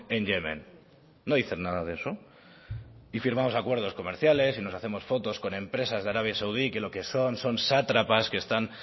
en yemen no dicen nada de eso y firmamos acuerdos comerciales nos hacemos fotos con empresas de arabia saudí que lo que son son sátrapas que están